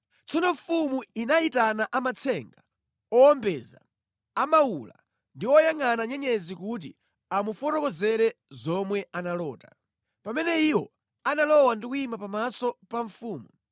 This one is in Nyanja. Tsono mfumu inayitana amatsenga, owombeza, amawula ndi oyangʼana nyenyezi kuti amufotokozere zomwe analota. Pamene iwo analowa ndi kuyima pamaso pa mfumu,